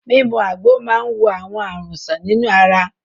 Mímu àgbo máa ń wo àwọn àrùn sàn nínú ara.